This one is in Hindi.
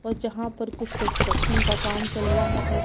और जहां पर कुछ कंस्ट्रक्शन का काम चल रहा है।